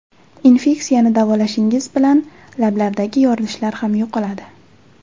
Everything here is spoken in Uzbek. Infeksiyani davolashingiz bilan lablardagi yorilishlar ham yo‘qoladi.